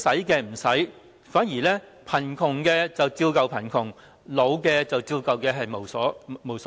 結果貧窮的人依舊貧窮，年老的人依舊老無所依。